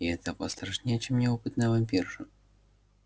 и это пострашнее чем неопытная вампирша